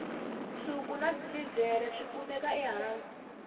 nsuku na silivhere swi kumeka ehansi